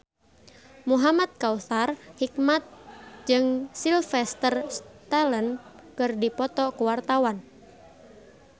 Muhamad Kautsar Hikmat jeung Sylvester Stallone keur dipoto ku wartawan